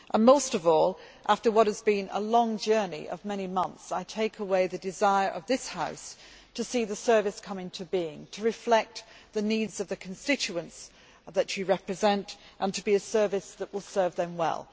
Most of all, after what has been a long journey of many months, I take away the desire of this House to see the service come into being, to reflect the needs of the constituents you represent, and to be a service that will serve them well.